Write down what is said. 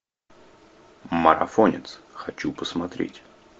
марафонец хочу посмотреть